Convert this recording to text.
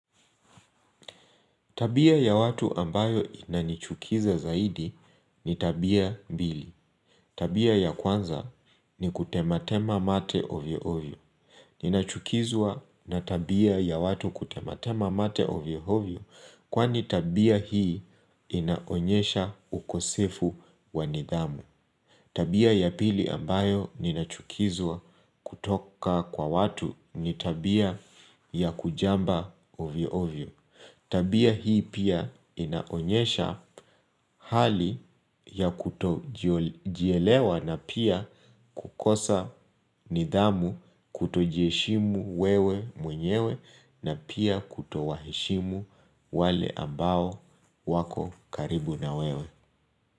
Tabia ya watu ambayo inanichukiza zaidi ni tabia mbili. Tabia ya kwanza ni kutema tema mate ovyo ovyo. Ninachukizwa na tabia ya watu kutema tema mate ovyo ovyo kwani tabia hii inaonyesha ukosefu wa nidhamu. Tabia ya pili ambayo ninachukizwa kutoka kwa watu ni tabia ya kujamba ovyo ovyo. Tabia hii inaonyesha hali ya kutojielewa na pia kukosa nidhamu, kutojiheshimu wewe mwenyewe na pia kuto waheshimu wale ambao wako karibu na wewe.